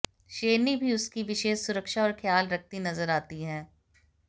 शेरनी भी उसकी विशेष सुरक्षा और ख्याल रखती नजर आती है